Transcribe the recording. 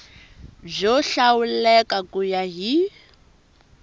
byo hlawuleka ku ya hi